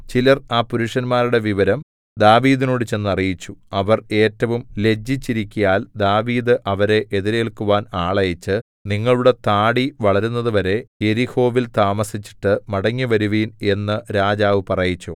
ചിലർ ആ പുരുഷന്മാരുടെ വിവരം ദാവീദിനോട് ചെന്ന് അറിയിച്ചു അവർ ഏറ്റവും ലജ്ജിച്ചിരിക്കയാൽ ദാവീദ് അവരെ എതിരേൽക്കുവാൻ ആളയച്ച് നിങ്ങളുടെ താടി വളരുന്നതുവരെ യെരിഹോവിൽ താമസിച്ചിട്ട് മടങ്ങിവരുവിൻ എന്നു രാജാവു പറയിച്ചു